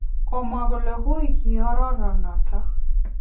Kimwa kole uui keororo noton.